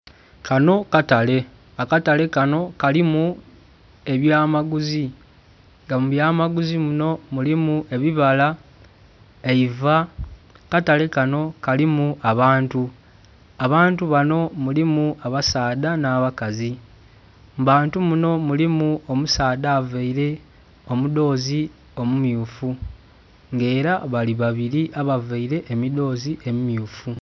Kanho katale akatale kanho kalimu abya maguzi nga mu bya maguzi munho mulimu ebibala, eiva. Akatale kanho kalimu abantu, abantu banho mulimu abasaadha nha bakazi, mu bantu munho mulimu omusaadha avaire omidhozi omu mmyufu nga era bali babiri abavaire emidhozi emi mmyufu.